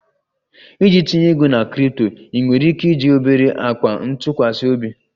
Iji tinye ego na crypto, ị nwere ike iji obere akpa ntụkwasị obi?